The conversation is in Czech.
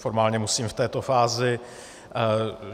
Formálně musím v této fázi.